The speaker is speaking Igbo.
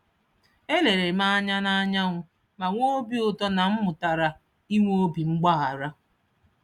Elerem anya na anyanwụ ma nwee obi ụtọ na m mụtara ịnwe obi mgbahara